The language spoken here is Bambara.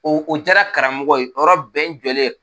O o jaara karamɔgɔ ye o yɔrɔ bɛɛ n jɔlen